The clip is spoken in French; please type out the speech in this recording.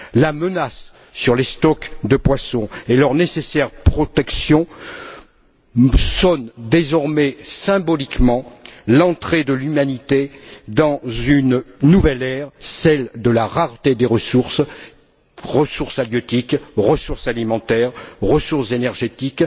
La menace sur les stocks de poisson et leur nécessaire protection sonnent désormais comme le symbole de l'entrée de l'humanité dans une nouvelle ère, celle de la rareté des ressources ressources halieutiques, ressources alimentaires, ressources énergétiques.